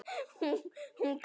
Hún hver?